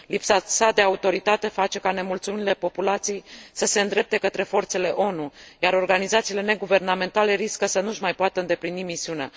Lipsa sa de autoritate face ca nemulțumirile populației să se îndrepte către forțele ONU, iar organizațiile neguvernamentale riscă să nu și mai poată îndeplini misiunea.